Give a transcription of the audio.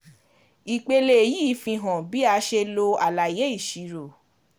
Ìpele yìí fihan bí a ṣe lo àlàyé ìṣirò.